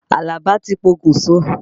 Àlàbá ti pokùn so.